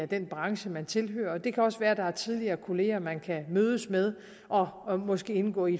den branche man tilhører og det kan også være der er tidligere kolleger man kan mødes med og og måske indgå i